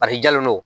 Paseke jalen don